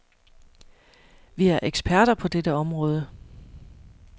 Vi er eksperter på dette område.